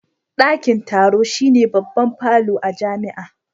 Dakin taro shine babban falo a jami'a